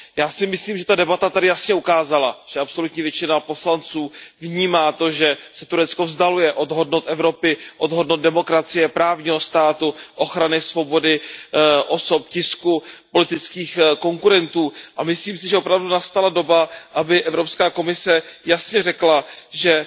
Já si myslím, že ta debata tady jasně ukázala, že absolutní většina poslanců vnímá to, že se Turecko vzdaluje od hodnot Evropy, od hodnot demokracie, právního státu, ochrany svobody, osob, tisku, politických konkurentů, a myslím si, že opravdu nastala doba, aby Evropská komise jasně řekla, že